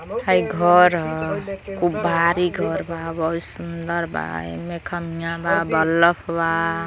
हई घर ह। खूब भारी घर बा। बहुत सुंदर बा। एमे खमिया बा बलफ बा।